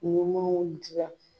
Ɲuman dilan